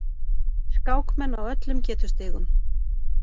Skákmenn á öllum getustigum